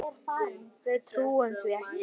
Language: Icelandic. Við trúum því ekki.